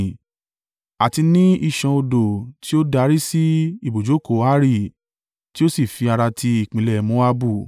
àti ní ìṣàn odò tí ó darí sí ibùjókòó Ari tí ó sì fi ara ti ìpínlẹ̀ Moabu.”